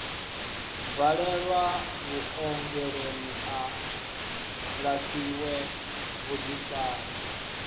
bvalelwe vhuongeloni a lafhiwe vhuḓifari